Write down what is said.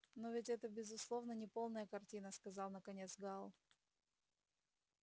но ведь это безусловно неполная картина сказал наконец гаал